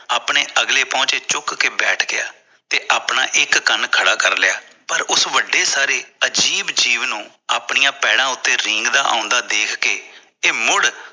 ਆਪਣੇ ਅਗਲੇ ਪਹੁੰਚੇ ਚੁੱਕ ਕੇ ਬੈਠ ਗਿਆ ਤੇ ਆਪਣਾ ਇਕ ਕੰਨ ਖੜਾ ਕਰਲਿਆ ਪਰ ਉਸ ਵੱਡੇ ਸਾਰੇ ਅਜ਼ੀਬ ਜੀਵ ਨੂੰ ਅਪਣੇ ਪੈਰਾਂ ਉੱਤੇ ਰੀਂਗਦਾ ਆਉਂਦਾ ਦੇਖ ਕੇ ਇਹ ਮੁੜ